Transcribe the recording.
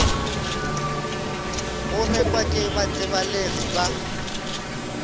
go rekwa ke batsebalegi ba